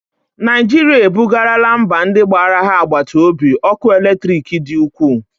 Naijirịa e bugarala mba ndị gbara ha agbata obi ọkụ eletriki dị ukwuu